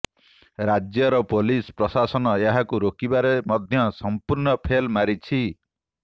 ରାଜ୍ୟର ପୋଲିସ ପ୍ରଶାସନ ଏହାକୁ ରୋକିବାରେ ମଧ୍ୟ ସମ୍ପୁର୍ଣ୍ଣ ଫେଲ୍ ମାରିଛି